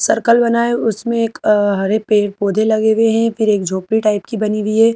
Circle बना है उसमें एक हरे पेड़ पौधे लगे हुए हैं फिर एक झोपड़ी टाइप की बनी हुई है।